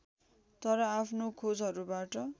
तर आफ्नो खोजहरूबाट